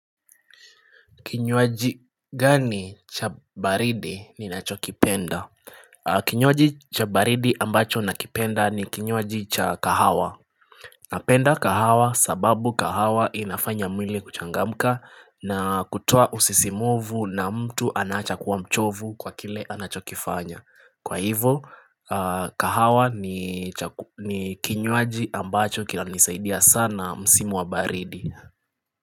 Kinywaji gani cha baridi ninacho kipenda? Kinywaji cha baridi ambacho nakipenda ni kinywaji cha kahawa. Napenda kahawa sababu kahawa inafanya mwili kuchangamka na kutoa usisimuvu na mtu anaacha kuwa mchovu kwa kile anachokifanya. Kwa hivyo, kahawa ni kinywaji ambacho kinanisaidia sana msimu wa baridi.